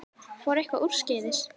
Fór eitthvað úrskeiðis?